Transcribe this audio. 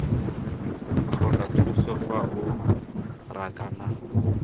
tlhoka thuso fa o rakana